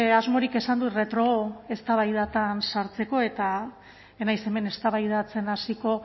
asmorik esan dut retroeztabaidatan sartzeko eta ez naiz hemen eztabaidatzen hasiko